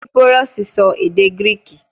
Kípírọ́sì sọ èdè Gíríìkì